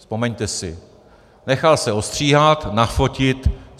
Vzpomeňte si, nechal se ostříhat, nafotit.